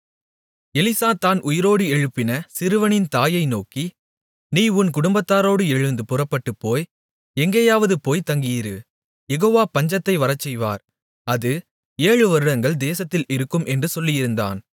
Elisha தான் உயிரோடு எழுப்பின சிறுவனின் தாயை நோக்கி நீ உன் குடும்பத்தாரோடு எழுந்து புறப்பட்டுப்போய் எங்கேயாவது போய் தங்கியிரு யெகோவா பஞ்சத்தை வரச்செய்வார் அது ஏழுவருடங்கள் தேசத்தில் இருக்கும் என்று சொல்லியிருந்தான்